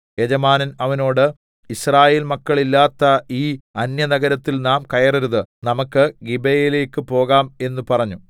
യജമാനൻ അവനോട് യിസ്രായേൽമക്കളില്ലാത്ത ഈ അന്യനഗരത്തിൽ നാം കയറരുത് നമുക്ക് ഗിബെയയിലേക്ക് പോകാം എന്ന് പറഞ്ഞു